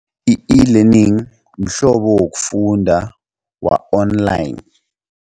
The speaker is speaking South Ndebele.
I-e-learning mhlobo wokufunda wa-online.